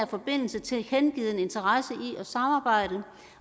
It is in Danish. forbindelse tilkendegivet en interesse i at samarbejde